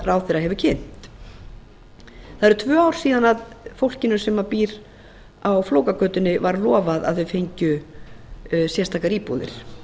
ráðherra hefur kynnt það eru tvö ár síðan fólkinu sem býr á flókagötunni var lofað að þeir fengju sérstakar íbúðir